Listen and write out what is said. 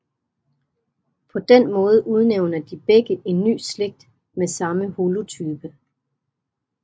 På den måde udnævner de begge en ny slægt med samme holotype